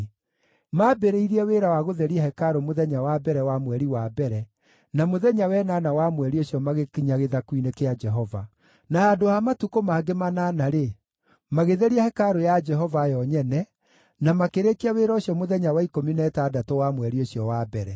Maambĩrĩirie wĩra wa gũtheria hekarũ mũthenya wa mbere wa mweri wa mbere, na mũthenya wa ĩnana wa mweri ũcio magĩkinya gĩthaku-inĩ kĩa Jehova. Na handũ ha matukũ mangĩ manana-rĩ, magĩtheria hekarũ ya Jehova yo nyene, na makĩrĩkia wĩra ũcio mũthenya wa ikũmi na ĩtandatũ wa mweri ũcio wa mbere.